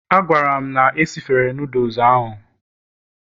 A gwara m na esifere noodles ahụ